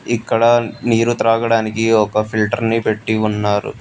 ఇక్కడ నీరు త్రాగడానికి ఒక ఫిల్టర్ ని పెట్టి ఉన్నారు.